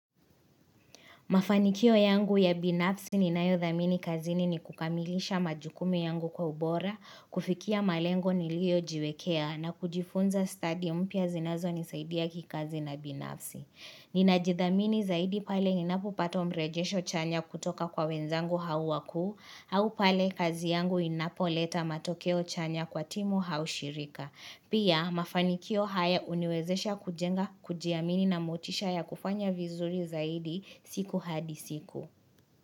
Mafanikio yangu ya binafsi ninayo dhamini kazini ni kukamilisha majukumu yangu kwa ubora, kufikia malengo nilio jiwekea na kujifunza stadi mpya zinazo nisaidia kikazi na binafsi. Ninajidhamini zaidi pale ninapo pata mrejesho chanya kutoka kwa wenzangu hau wakuu, hau pale kazi yangu inapoleta matokeo chanya kwa timu hau shirika. Pia mafanikio haya huniwezesha kujenga, kujiamini na motisha ya kufanya vizuri zaidi siku hadi siku.